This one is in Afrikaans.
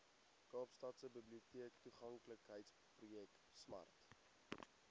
kaapstadse biblioteektoeganklikheidsprojek smart